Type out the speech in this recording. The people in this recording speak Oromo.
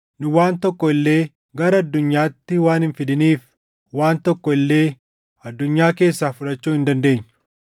Nu waan tokko illee gara addunyaatti waan hin fidiniif, waan tokko illee addunyaa keessaa fudhachuu hin dandeenyu.